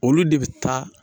Olu de bɛ taa